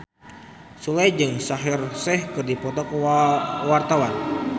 Sule jeung Shaheer Sheikh keur dipoto ku wartawan